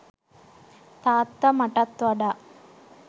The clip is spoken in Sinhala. තාත්තා මටත් වඩා